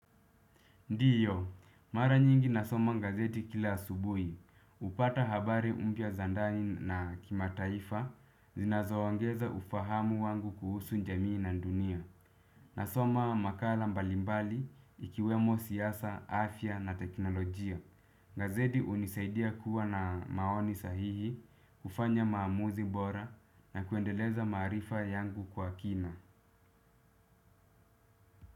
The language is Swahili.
Ndiyo, mara nyingi nasoma gazeti kila asubuhi, hupata habari mpya za ndani na kimataifa, zinazoongeza ufahamu wangu kuhusu jamii na dunia. Nasoma makala mbalimbali ikiwemo siasa, afya na teknolojia. Gazeti hunisaidia kuwa na maoni sahihi, kufanya maamuzi bora na kuendeleza maarifa yangu kwa kina.